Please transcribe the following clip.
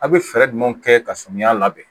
A bɛ fɛɛrɛ jumɛn kɛ ka samiya labɛn